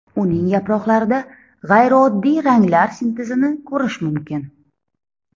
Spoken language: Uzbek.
Uning yaproqlarida g‘ayrioddiy ranglar sintezini ko‘rish mumkin.